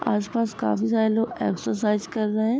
आस-पास काफी सारे लोग एक्सरसाइज कर रहे है।